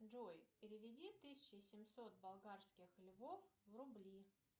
джой переведи тысячу семьсот болгарских львов в рубли